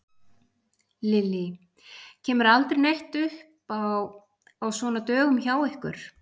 Lillý: Kemur aldrei neitt upp á á svona dögum hjá ykkur?